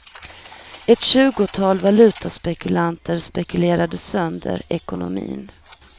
Ett tjugotal valutaspekulanter spekulerade sönder ekonomin.